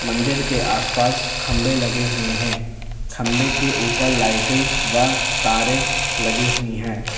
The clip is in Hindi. मंदिर के आसपास खंबे लगे हुए हैं खंभे के ऊपर लाइटें व तारे लगी हुई है।